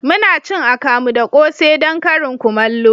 Muna cin akamu da kose don karin kumallo